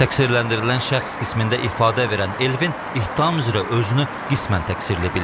Təqsirləndirilən şəxs qismində ifadə verən Elvin ittiham üzrə özünü qismən təqsirli bilib.